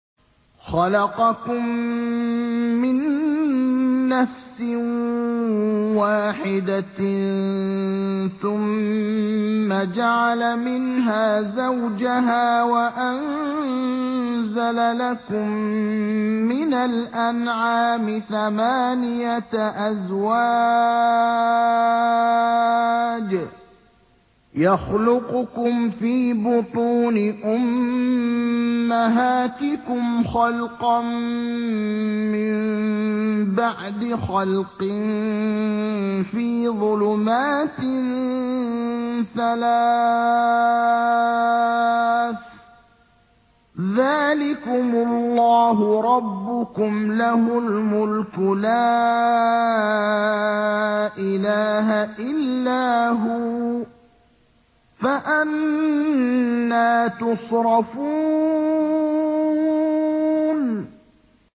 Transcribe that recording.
خَلَقَكُم مِّن نَّفْسٍ وَاحِدَةٍ ثُمَّ جَعَلَ مِنْهَا زَوْجَهَا وَأَنزَلَ لَكُم مِّنَ الْأَنْعَامِ ثَمَانِيَةَ أَزْوَاجٍ ۚ يَخْلُقُكُمْ فِي بُطُونِ أُمَّهَاتِكُمْ خَلْقًا مِّن بَعْدِ خَلْقٍ فِي ظُلُمَاتٍ ثَلَاثٍ ۚ ذَٰلِكُمُ اللَّهُ رَبُّكُمْ لَهُ الْمُلْكُ ۖ لَا إِلَٰهَ إِلَّا هُوَ ۖ فَأَنَّىٰ تُصْرَفُونَ